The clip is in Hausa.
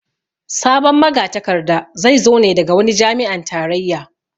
Sabon magatakarda zai zo ne daga wani jami'an tarayya